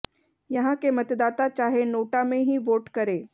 यहां के मतदाता चाहे नोटा में ही वोट करें